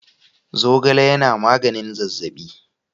Zogale yana magnin zazzabi.